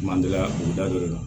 Mandiya o da don re la